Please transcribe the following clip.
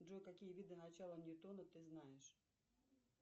джой какие виды начала ньютона ты знаешь